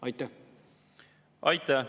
Aitäh!